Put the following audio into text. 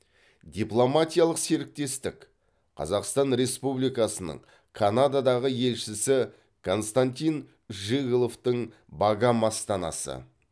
дипломатиялық серіктестік қазақстан республикасының канададағы елшісі константин жиголовтың багам астанасы